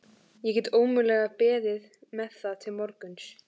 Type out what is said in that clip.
Ég get ómögulega beðið með það til morguns.